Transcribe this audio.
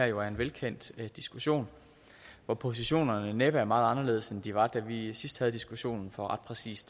jo en velkendt diskussion hvor positionerne næppe er meget anderledes end de var da vi vi sidst havde diskussionen for ret præcis